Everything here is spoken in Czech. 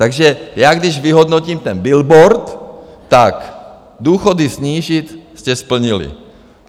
Takže já, když vyhodnotím ten billboard, tak důchody snížit - jste splnili.